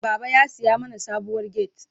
Baba ya siya mana sabuwar gate.